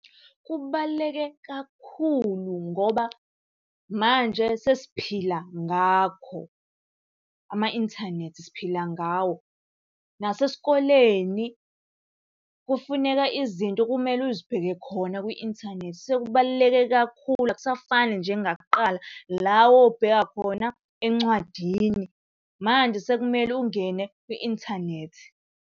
Kubaluleke kakhulu ngoba manje sesiphila ngakho. Ama-inthanethi siphila ngawo. Nasesikoleni kufuneka izinto kumele uzibheke khona kwi-inthanethi. Sekubaluleke kakhulu akusafani njengakuqala la owawubheka khona encwadini. Manje sekumele ungene kwi-inthanethi.